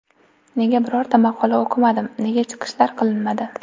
Nega birorta maqola o‘qimadim, nega chiqishlar qilinmadi?